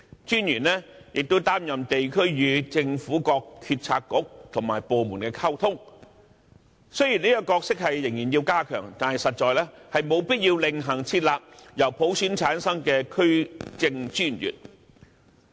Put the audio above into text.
專員更負責地區與政府各政策局和部門溝通的工作，雖然這角色仍要加強，但實在沒有必要另行設立由普選產生的區政專員。